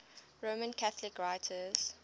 roman catholic writers